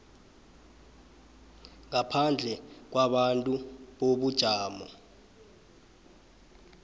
ngaphandle kwabantu bobujamo